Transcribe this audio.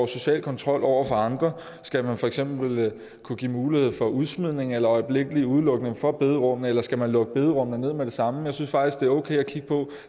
social kontrol over for andre skal man for eksempel kunne give mulighed for udsmidning eller øjeblikkelig udelukkelse fra bederum eller skal man lukke bederummene ned med det samme jeg synes faktisk det er okay at kigge på